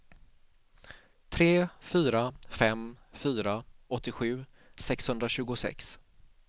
tre fyra fem fyra åttiosju sexhundratjugosex